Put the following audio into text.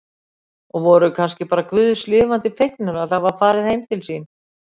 Og voru kannski bara guðs lifandi fegnir að það væri farið heim til sín.